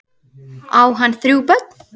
Á hann þrjú börn.